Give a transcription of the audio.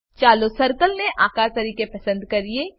ચાલો સર્કલ ને આકાર તરીકે પસંદ કરીએ